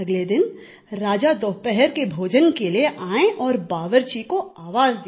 अगले दिन राजा दोपहर के भोजन के लिए आये और बावर्ची को आवाज़ दिया